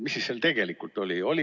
Mis seal siis tegelikult oli?